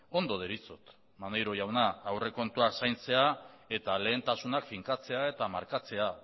ondo deritzot maneiro jauna aurrekontuak zaintzea eta lehentasunak finkatzea eta markatzea